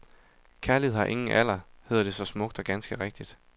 Kærlighed har ingen alder, hedder det så smukt og ganske rigtigt.